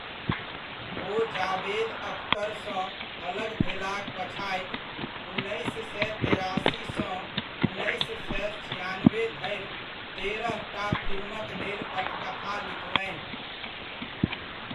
ओ जावेद अख्तरसँ अलग भेलाक पछाति, उन्नैस सए तेरासि सँ उन्नैस सए छिआनबे धरि तेरहटा फिल्मक लेल पटकथा लिखलनि।